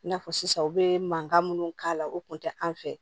I n'a fɔ sisan u bɛ mankan minnu k'a la o kun tɛ an fɛ